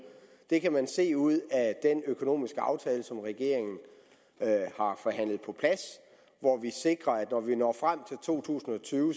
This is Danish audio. det kan man se ud af den økonomiske aftale som regeringen har forhandlet på plads hvor vi sikrer at når vi når frem til to tusind og tyve